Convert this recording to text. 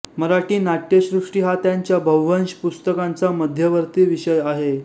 मराठी नाट्यसृष्टी हा त्यांच्या बव्हंश पुस्तकांचा मध्यवर्ती विषय आहे